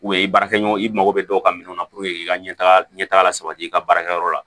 i baarakɛɲɔgɔn i mako bɛ dɔw ka minɛnw na i ka ɲɛtaga ɲɛ taga la sabati i ka baarakɛyɔrɔ la